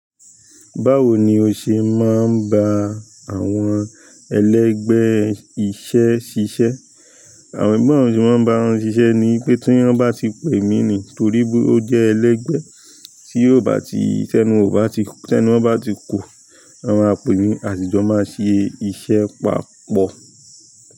Báwo ni o ṣe máa ń bá àwọn ẹlẹ́gbẹ̀ẹ́ iṣẹ́ ṣiṣẹ́? Àwọn ẹ̀gbọ́n rẹ tí wọ́n bá ń ran ṣiṣẹ́ ni pé tí wọ́n bá ti pè mí ni torí pé ó jẹ́ ẹlẹ́gbẹ̀ẹ́ tí ó bá ti tẹ́nu, ó bá ti tẹ́nu, wọ́n bá ti kú, wọn ma pemi àsijọ́ máa ṣe iṣẹ́ papọ̀.